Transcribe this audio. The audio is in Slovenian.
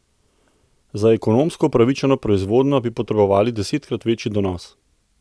Za ekonomsko upravičeno proizvodnjo bi potrebovali desetkrat večji donos.